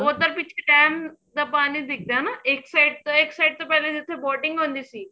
ਉਹ ਤਾਂ ਪਿੱਛੇ ਡੇਮ ਦਾ ਪਾਣੀ ਦਿਖਦਾ ਨਾ ਇੱਕ side ਤੋਂ ਇੱਕ side ਤੋਂ ਪਹਿਲਾਂ ਜਿੱਥੇ boating ਹੁੰਦੀ ਸੀ